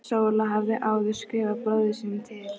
Sóla hafði áður skrifað bróður sínum til